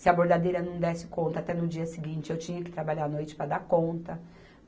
Se a bordadeira não desse conta, até no dia seguinte eu tinha que trabalhar a noite para dar conta.